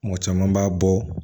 Mɔgɔ caman b'a bɔ